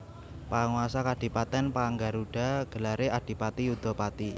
Panguasa kadipatèn Paranggaruda gelaré Adipati Yudapati